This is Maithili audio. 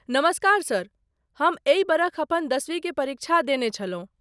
नमस्कार सर, हम एहि बरख अपन दशवी के परीक्षा देने छलहुँ।